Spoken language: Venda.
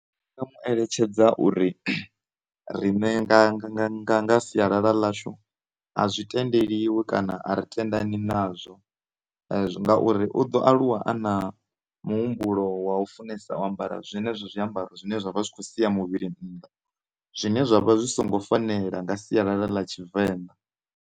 Ndi nga mu eletshedza uri riṋe nga, nga, nga, nga sialala ḽashu a zwi tendeliwi kana ari tendeni nazwo ngauri u ḓo aluwa a na muhumbulo wa u funesa u ambara zwenezwo zwiambaro zwine zwa vha zwi khou sia muvhili nnḓa zwine zwa vha zwi songo fanela nga sialala ḽa tshivenḓa.